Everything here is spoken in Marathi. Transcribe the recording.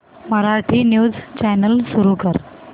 मराठी न्यूज चॅनल सुरू कर